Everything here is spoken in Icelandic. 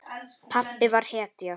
Pabbi var hetja.